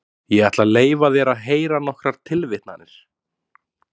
Ég ætla að leyfa þér að heyra nokkrar tilvitnanir.